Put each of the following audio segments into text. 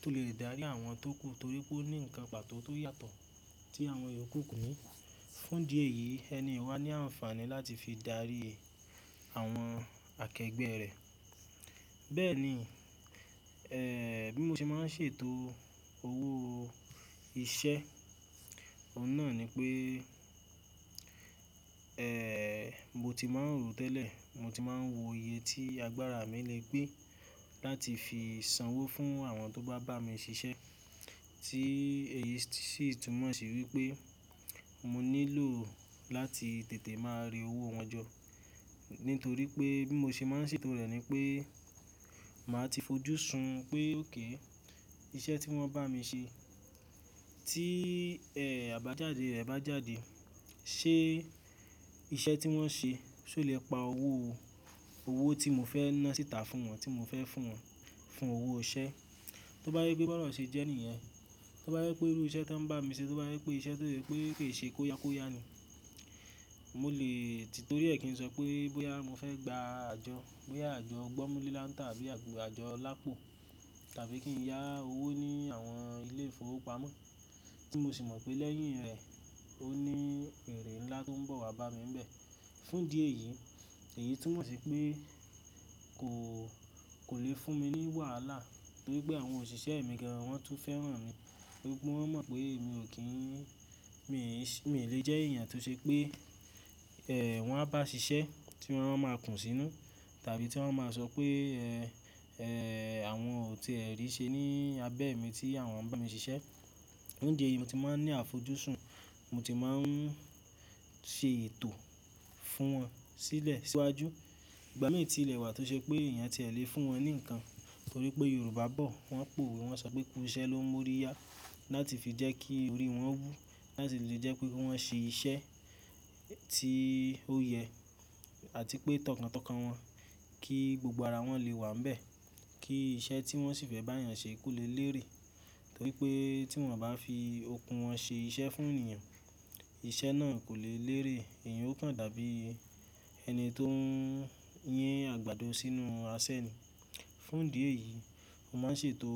tó lè dárí àwọn tó kù torí pé ó ní ǹkan pàtó tó yàtọ̀ tí àwọn iyòku ko ní. Fún idí ẹ̀yí ẹni yii wa ní àǹfààní láti fi dárí àwọn akẹgbẹ́ rẹ̀. Bẹ́ẹ̀ ni, ẹ́ bí mo ṣe máa ń ṣètò owó iṣẹ́, oun náà ni pé, ẹ́ mo ti máa ń rò tẹ́lẹ̀, mo ti máa ń wo iye tí agbára mi lè gbé láti fi sanwó fún àwọn tó bá bá mi ṣiṣẹ́ tí èyí sì túmọ̀ sí wípé mo nílò láti tètè máa re owó wọn jọ. Nítorí pé bí mo ṣe máa ń ṣètò rẹ̀ ni pé màá ti fojúsùn pé okay, iṣẹ́ tí wọ́n bá mi ṣe tí ẹ àbájáde rẹ̀ bá jáde, ṣe iṣẹ́ tí wọ́n ṣe ṣé o lè pa owó, owó tí mo fẹ́ ná síta fún wọn, tí mo fẹ́ fún wọn fún owó iṣẹ́. Tó bá jẹ pé bi ona ṣe jẹ́ ènìyàn, tó bá jẹ pé irú iṣẹ́ tí wọ́n ń bá mi ṣe, tó bá je pé iṣẹ́ tó sẹ pé kì í ṣe kóyákóyá ni. Mo lè ti torí è kí n sọ pé bóyá mo fẹ́ gba àjọ, bóyá àjọ gbọ́mulántà tàbí àjọ lápò tàbí kí n yá owó ní àwọn ilé ìfowópamọ́ tí mo sì mọ̀ pé lẹ́yìn rẹ̀ ó ní èrè ńlá tó ń bọ̀ wá bá mi ń bẹ̀. Fún idí ẹ̀yìí, èyí túmọ̀ sí pé kò, kò lè fún mi ní wàhálà torí pé àwọn òṣìṣẹ́ mi gan wọ́n tún fẹ́ràn mi. Torí pé wọ́n mọ̀ pé mi ò kí ń, mi, mi lè jẹ́ èèyàn tó ṣe pé ẹ wọ́n á bá ṣiṣẹ́ tí wọ́n máa kùn sínú tàbí tí wọ́n máa sọ pé ẹ, ẹ́ àwọn ò ti è rí ṣe ní abẹ́ mi tí àwọn ń bá mi ṣiṣẹ́. Fun idi eyí mo ti máa ń ní àfojúsùn, mo ti máa ń ṣe ètò fún wọn sílẹ̀ síwájú. Ìgbà mìíràn tí lẹ̀ wà tó ṣe pé èèyàn ti ẹ lè fún wọn ní ǹkan torí pé Yorùbá bọ̀, wọ́n pòwe won sọ pé "kúrú iṣẹ́ ló ń mú ọ ríyá" láti fi jẹ́ kí orí wọn wú, láti lè jẹ́ pé kí wọ́n ṣe iṣẹ́ tí ó yẹ àti pé tọ̀kàntọkàn wọn kí gbogbo ara wọn lè wà ń bẹ̀. Kí iṣẹ́ tí wọ́n sì fẹ́ bá èèyàn ṣe kó lè lérè torí pé tí wọ́n bá fi okun wọn ṣe iṣẹ́ fún ènìyàn, iṣẹ́ náà kò lè lérè, èèyàn ó kàn dàbí ẹni tó ń yín àgbàdo sínú aṣẹ́ ni. Fún idí ẹ̀yí, mo máa ń ṣètò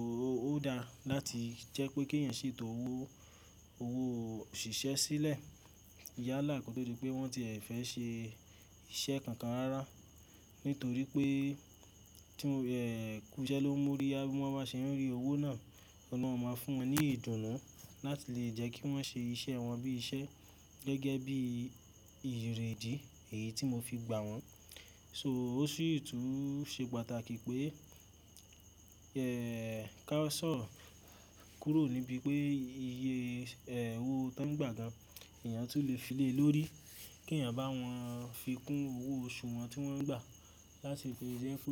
ó dá láti jẹ́ pé kí ẹ̀yin ṣètò owó, owó òṣìṣẹ́ sílẹ̀ yálà kí ó tó dí pé wọ́n ti ẹ̀ fẹ́ ṣe iṣẹ́ kankan rárá. Nítorí pé tí wọ́n ẹ́ "kúrú iṣẹ́ ló ń mú ọ ríyá" bí wọ́n bá ṣe ń rí owó náà, ọ̀ ni wọn máa fún wọn ní ìdùnnú láti lè jẹ́ kí wọ́n ṣe iṣẹ́ wọn bí iṣẹ́ gẹ́gẹ́ bí erèdí èyí tí mo fi gbà wọ́n. So ó sì tún ṣe pàtàkì pé, ẹ́ ká sòrò kuro níbi pé iye ẹ owó tá ń gbà gan, èèyàn tún lè fi lé lórí kí ẹ̀yin bá wọn fi kún owó oṣù wọn tí wọ́n ń gbà láti lè jẹ́ pé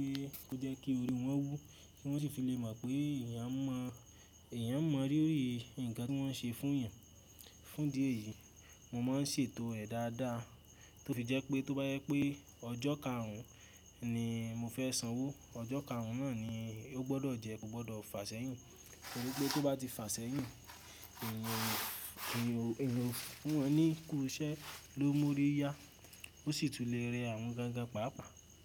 ó jẹ́ kí orí wọn wú kí wọ́n sì fi lè mọ̀ pé èèyàn mọ̀, èèyàn mọ̀ ríri ǹkan tí wọ́n ṣe fún èèyàn. Fún idí ẹ̀yí, mo máa ń ṣètò ẹ̀ dáadáa tó fi jẹ́ pé tó bá jẹ pé ọjọ́ karùn-ún ni mo fẹ́ sanwó, ọjọ́ karùn-ún náà ni ó gbọ́dọ̀ jẹ́, kò gbọ́dọ̀ fàṣẹ́yìn. Torí pé tó bá ti fàṣẹ́yìn, èèyàn ó, èèyàn ó fún wọn ní "kúrú iṣẹ́ ló ń mú ọ ríyá" ó sì tún lè rẹ àwọn gágá pàápàá.